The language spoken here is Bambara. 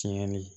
Tiɲɛni